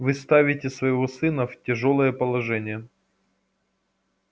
вы ставите своего сына в тяжёлое положение